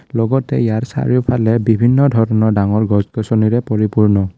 লগতে ইয়াৰ চাৰিওফালে বিভিন্ন ধৰণৰ ডাঙৰ গছ গছনিৰে পৰিপূৰ্ণ।